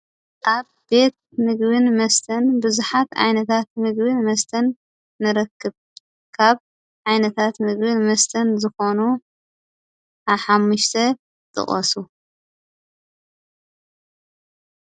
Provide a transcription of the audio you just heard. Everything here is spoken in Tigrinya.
ኣብ ቤት ምግብን መስተን ብዙሓት ዓይነታት ምግብን መስተን ንረክብ። ካብ ዓይነታት ምግብን መስተን ዝኾኑ ሓሙሽተ ጥቀሱ።